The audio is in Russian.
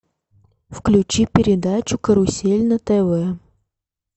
включи передачу карусель на тв